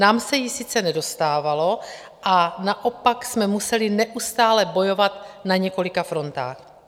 Nám se jí sice nedostalo a naopak jsme museli neustále bojovat na několika frontách.